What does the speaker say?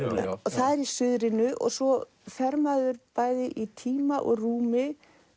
hinar það er í suðrinu og svo fer maður bæði í tíma og rúmi